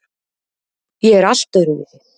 Ég er allt öðruvísi.